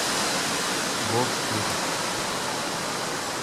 вов сирус